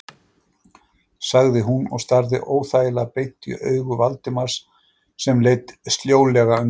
sagði hún og starði óþægilega beint í augu Valdimars sem leit sljólega undan.